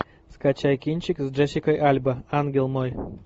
скачай кинчик с джессикой альба ангел мой